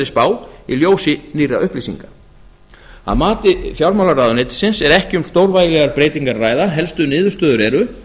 spá í ljósi nýrra upplýsinga að mati fjármálaráðuneytisins er ekki um stórvægilegar breytingar að ræða helstu niðurstöður eru